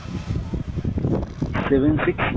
seven six,